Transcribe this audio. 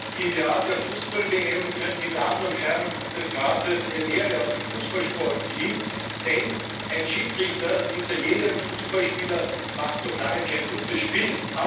Herr Präsident! Im Jahr der Fußball WM könnten die Damen und Herren im Rat eine Lehre aus dem Fußballsport ziehen, denn ein Schiedsrichter hinter jedem Fußballspieler macht noch lange kein gutes Spiel!